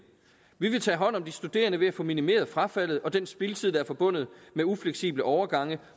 vi vil tage hånd om de studerende ved at få minimeret frafaldet og den spildtid der er forbundet med ufleksible overgange